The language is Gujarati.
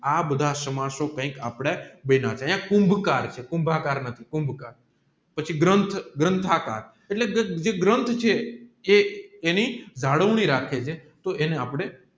આ બધા સમાસો કૈક આપડે ભયના કુંબકરચે કુમ્ભ કારની એટલે કુંબકર પછી ગ્રંથ ગ્રંથકાર એટલે જે ગ્રંથ છે એની જાણવણી રાખે છે એને આપણે